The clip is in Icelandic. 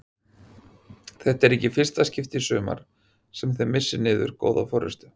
Þetta er ekki í fyrsta skipti í sumar sem þið missið niður góða forystu?